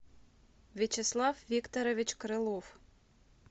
вячеслав викторович крылов